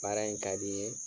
Baara in kadi n ye